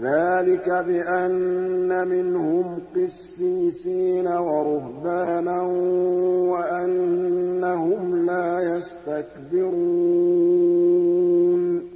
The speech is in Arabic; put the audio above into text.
ذَٰلِكَ بِأَنَّ مِنْهُمْ قِسِّيسِينَ وَرُهْبَانًا وَأَنَّهُمْ لَا يَسْتَكْبِرُونَ